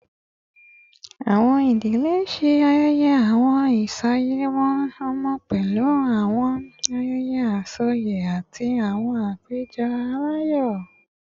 Awọn idile ṣe ayẹyẹ awọn iyasimimọ ọmọ pẹlu awọn ayẹyẹ asọye ati awọn apejọ alayọ